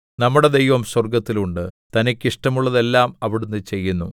നമ്മുടെ ദൈവം സ്വർഗ്ഗത്തിൽ ഉണ്ട് തനിക്ക് ഇഷ്ടമുള്ളതെല്ലാം അവിടുന്ന് ചെയ്യുന്നു